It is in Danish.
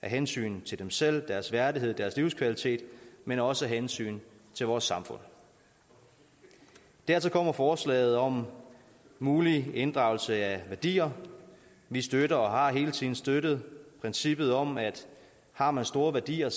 af hensyn til dem selv og deres værdighed og deres livskvalitet men også af hensyn til vores samfund dertil kommer forslaget om mulig inddragelse af værdier vi støtter og har hele tiden støttet princippet om at har man store værdier